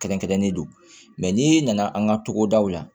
Kɛrɛnkɛrɛnnen don n'i nana an ka togodaw la